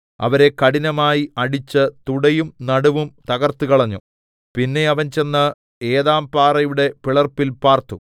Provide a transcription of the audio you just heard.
അവരെ കഠിനമായി അടിച്ച് തുടയും നടുവും തകർത്തുകളഞ്ഞു പിന്നെ അവൻ ചെന്ന് ഏതാംപാറയുടെ പിളർപ്പിൽ പാർത്തു